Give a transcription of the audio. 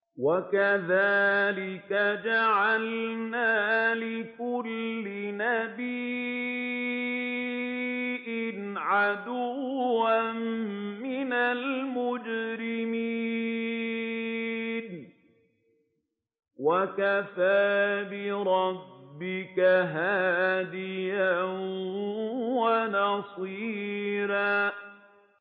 وَكَذَٰلِكَ جَعَلْنَا لِكُلِّ نَبِيٍّ عَدُوًّا مِّنَ الْمُجْرِمِينَ ۗ وَكَفَىٰ بِرَبِّكَ هَادِيًا وَنَصِيرًا